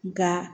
Nka